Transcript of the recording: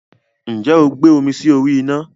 Ǹjẹ́ o gbé omi sí orí ina?